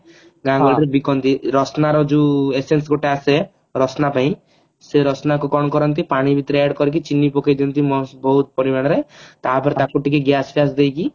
ବିକନ୍ତି ରଶନା ର ଯୋଉ essence ଗୋଟେ ଆସେ ରଶନା ପାଇଁ ସେ ରଶନା କୁ କଣ କରନ୍ତି ପାଣି ଭିତରେ add କରିକି ଚିନି ପକେଇ ଦିଅନ୍ତି mast ବହୁତ ପରିମାଣରେ ତା ପରେ ତାକୁ ଟିକେ gas ଫ୍ୟାସ ଦେଇକି